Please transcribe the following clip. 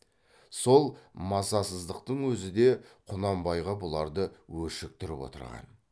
сол масасыздықтың өзі де құнанбайға бұларды өшіктіріп отырған